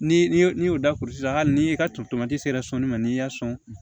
Ni n'i y'o da kulusi hali ni i ka toto ma n'i y'a sɔn